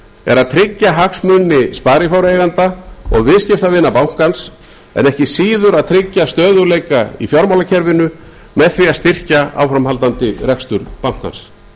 er að tryggja hagsmuni sparifjáreigenda og viðskiptavina bankans en ekki síður að tryggja stöðugleika í fjármálakerfinu með því að styrkja áframhaldandi rekstur bankans